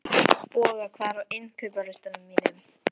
Boga, hvað er á innkaupalistanum mínum?